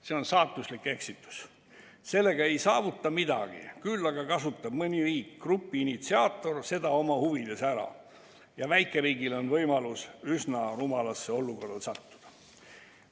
See on saatuslik eksitus, sellega ei saavuta midagi, küll aga kasutab mõni riik, grupi initsiaator, seda oma huvides ära ja väikeriigil on võimalus üsna rumalasse olukorda sattuda.